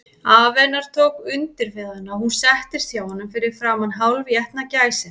Afi hennar tók undir við hana, og hún settist hjá honum fyrir framan hálfétna gæsina.